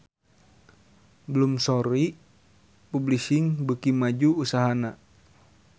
Bloomsbury Publishing beuki maju usahana